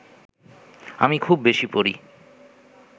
আমি খুব বেশি পড়ি